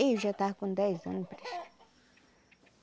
Eu já estava com dez anos.